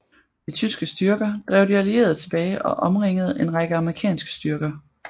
De tyske styrker drev de allierede tilbage og omringede en række amerikanske styrker